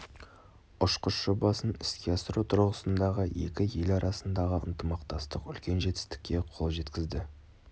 ұшқыш жобасын іске асыру тұрғысындағы екі ел арасындағы ынтымақтастық үлкен жетістікке қол жеткізді